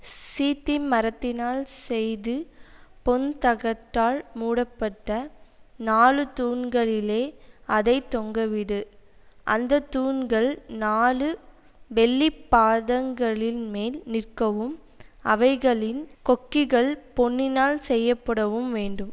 சீத்திம் மரத்தினால் செய்து பொன் தகட்டால் மூடப்பட்ட நாலு தூண்களிலே அதை தொங்கவிடு அந்த தூண்கள் நாலு வெள்ளி பாதங்களில்மேல் நிற்கவும் அவைகளின் கொக்கிகள் பொன்னினால் செய்யப்படவும் வேண்டும்